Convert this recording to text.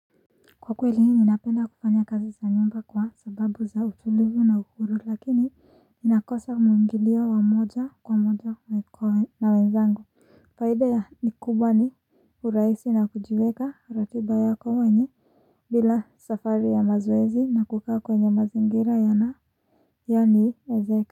Kwa kweli ninapenda kufanya kazi za nyumba kwa sababu za utulivu na uhuru lakini nakosa mwingilio wa moja kwa moja na wenzangu. Faida ya ni kubwa ni urahisi na kujiweka ratiba yako wenye bila safari ya mazoezi na kukaa kwenye mazingira yana yani ezeka.